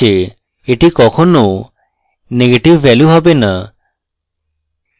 এটি কখনো negative value হবে না